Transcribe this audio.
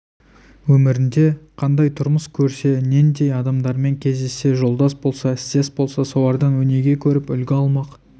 өмірінде қандай тұрмыс көрсе нендей адамдармен кездессе жолдас болса істес болса солардан өнеге көріп үлгі алмақ